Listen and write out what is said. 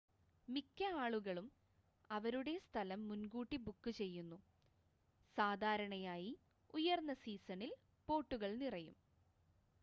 മിക്ക ആളുകളും അവരുടെ സ്ഥലം മുൻ‌കൂട്ടി ബുക്ക് ചെയ്യുന്നു സാധാരണയായി ഉയർന്ന സീസണിൽ ബോട്ടുകൾ നിറയും